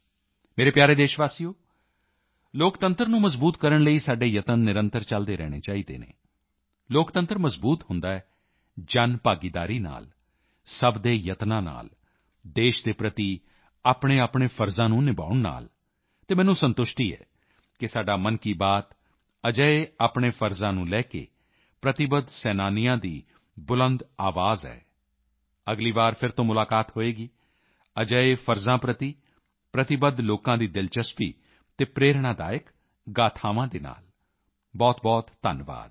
ਮੇਰੇ ਪਿਆਰੇ ਦੇਸ਼ਵਾਸੀਓ ਲੋਕਤੰਤਰ ਨੂੰ ਮਜ਼ਬੂਤ ਕਰਨ ਲਈ ਸਾਡੇ ਯਤਨ ਨਿਰੰਤਰ ਚਲਦੇ ਰਹਿਣੇ ਚਾਹੀਦੇ ਹਨ ਲੋਕਤੰਤਰ ਮਜ਼ਬੂਤ ਹੁੰਦਾ ਹੈ ਜਨਭਾਗੀਦਾਰੀ ਨਾਲ ਸਭ ਦੇ ਯਤਨਾਂ ਨਾਲ ਦੇਸ਼ ਦੇ ਪ੍ਰਤੀ ਆਪਣੇਆਪਣੇ ਫ਼ਰਜ਼ਾਂ ਨੂੰ ਨਿਭਾਉਣ ਨਾਲ ਅਤੇ ਮੈਨੂੰ ਸੰਤੁਸ਼ਟੀ ਹੈ ਕਿ ਸਾਡਾ ਮਨ ਕੀ ਬਾਤ ਅਜਿਹੇ ਆਪਣੇ ਕਰਤੱਵਾਂ ਨੂੰ ਲੈ ਕੇ ਪ੍ਰਤੀਬੱਧ ਸੈਨਾਨੀਆਂ ਦੀ ਬੁਲੰਦ ਆਵਾਜ਼ ਹੈ ਅਗਲੀ ਵਾਰ ਫਿਰ ਤੋਂ ਮੁਲਾਕਾਤ ਹੋਵੇਗੀ ਅਜਿਹੇ ਕਰਤੱਵਾਂ ਪ੍ਰਤੀ ਪ੍ਰਤੀਬੱਧ ਲੋਕਾਂ ਦੀ ਦਿਲਚਸਪ ਅਤੇ ਪ੍ਰੇਰਣਾਦਾਇਕ ਗਾਥਾਵਾਂ ਦੇ ਨਾਲ ਬਹੁਤਬਹੁਤ ਧੰਨਵਾਦ